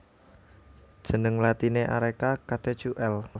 Jeneng latiné Areca catechu L